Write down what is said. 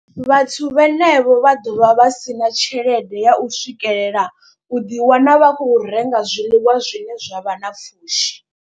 Vhathu vhenevho vha ḓovha vha si na tshelede ya u swikelela u ḓi wana vha khou renga zwiḽiwa zwine zwavha na pfhushi.